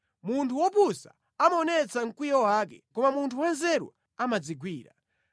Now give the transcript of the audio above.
Munthu wopusa amaonetsa mkwiyo wake, koma munthu wanzeru amadzigwira.